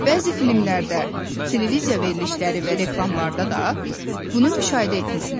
Bəzi filmlərdə, televiziya verilişləri və reklamlarda da bunu müşahidə etmisiniz.